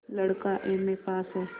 लड़का MA pass हैं